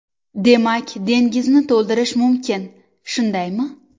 Demak, dengizni to‘ldirish mumkin, shundaymi?